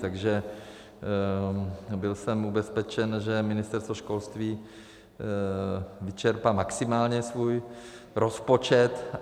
Takže byl jsem ubezpečen, že Ministerstvo školství vyčerpá maximálně svůj rozpočet.